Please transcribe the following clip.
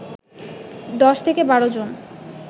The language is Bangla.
১০-১২ জন